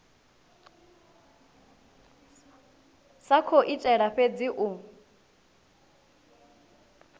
sa khou itela fhedzi u